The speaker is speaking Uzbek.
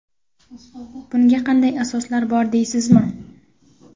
Bunga qanday asoslar bor deysizmi?